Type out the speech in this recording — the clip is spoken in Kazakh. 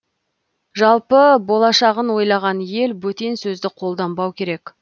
жалпы болашағын ойлаған ел бөтен сөзді қолданбау керек